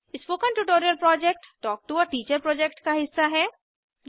spoken tutorial project talk to a teacher project का हिस्सा है